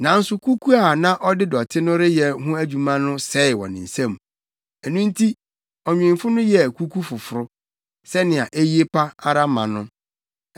Nanso kuku a na ɔde dɔte no reyɛ ho adwuma no sɛe wɔ ne nsam; ɛno nti ɔnwemfo no yɛɛ kuku foforo, sɛnea eye pa ara ma no.